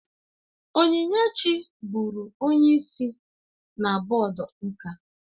Onyinyechi bụụrụ onye isi na bọọdụ nka